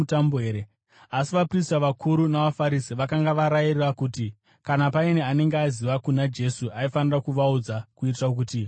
Asi vaprista vakuru navaFarisi vakanga varayira kuti kana paine anenge aziva kuna Jesu, aifanira kuvazivisa kuitira kuti vagomusunga.